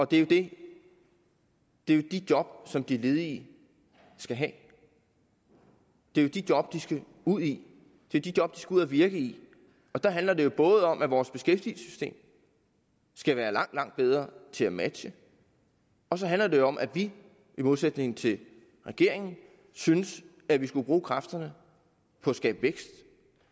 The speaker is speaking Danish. det det er jo de job som de ledige skal have det er de job de skal ud i det er de job de skal ud at virke i der handler det jo både om at vores beskæftigelsessystem skal være langt langt bedre til at matche og så handler det om at vi i modsætning til regeringen synes at vi skulle bruge kræfterne på at skabe vækst